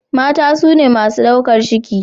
mata sune masu daukar ciki